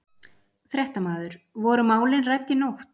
Fréttamaður: Voru málin rædd í nótt?